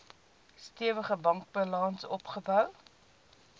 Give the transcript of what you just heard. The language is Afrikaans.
stewige bankbalans opgebou